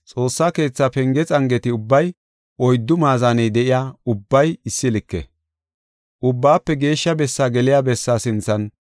Xoossa keetha penge xangeti ubbay oyddu maazaney de7iya ubbay issi like. Ubbaafe Geeshsha Bessaa geliya bessaa sinthan